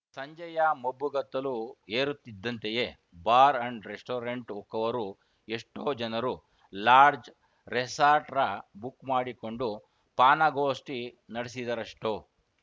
ಸಂಜೆಯ ಮಬ್ಬುಗತ್ತಲು ಏರುತ್ತಿದ್ದಂತೆಯೇ ಬಾರ್‌ ಅಂಡ್‌ ರೆಸ್ಟೋರೆಂಟ್‌ ಹೊಕ್ಕವರು ಎಷ್ಟೋಜನರೋ ಲಾಡ್ಜ್‌ ರೆಸಾರ್ಟ್ ರ ಬುಕ್‌ ಮಾಡಿಕೊಂಡು ಪಾನಗೋಷ್ಟಿನಡೆಸಿದರಷ್ಟೋ